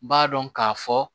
B'a dɔn k'a fɔ